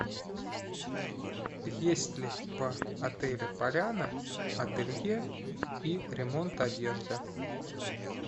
есть ли по отелю поляна ателье и ремонт одежды